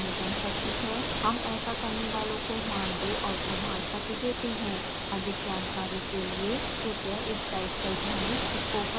हम ऐसा करने वालों को मानदेय और प्रमाण पत्र देते हैं अधिक जानकारी के लिए कृपया इस साइट पर जाएं